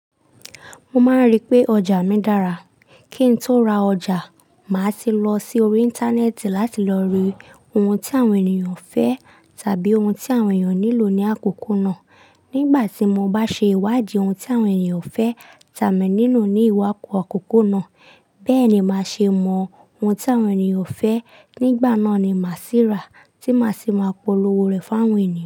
Mo máa ń rí i pé ọjà mi dára. Kí n tó ra ọjà, màá ti lọ sí orí Íńtánẹ́ẹ̀tì láti lọ re ohun tí àwọn ènìyàn fẹ́ tàbí ohun tí àwọn ènìyàn nílò ní àkókò náà. Nígbà tí mo bá ṣe ìwádìí ohun tí àwọn ènìyàn fẹ́ tà mí nínú ní ìwàkò àkókò náà. Bẹ́ẹ̀ ni màá ṣe mọ ohun tí àwọn ènìyàn fẹ́. Nígbà náà ni màá sì rá tí màá sì máa polówó rẹ̀ fún àwọn ènìyàn.